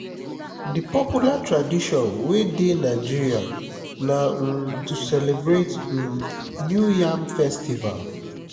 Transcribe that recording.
di popular tradition wey de nigeria na um to celebrate um new yam festival